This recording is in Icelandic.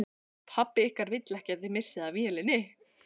Pabbi ykkar vill ekki að þið missið af vélinni